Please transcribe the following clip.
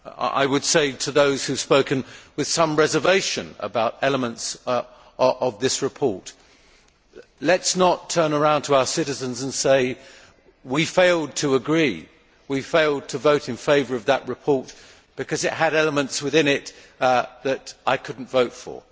I would say to those who have spoken with some reservation about elements of this report let us not turn around to our citizens and say that we failed to agree and we failed to vote in favour of that report because it had elements within it that I could not vote for.